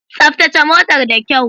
Tsaftace motar da kyau.